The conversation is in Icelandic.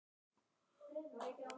Ertu með umboðsmann?